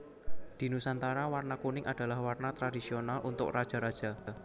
Di Nusantara warna kuning adalah warna tradisional untuk raja raja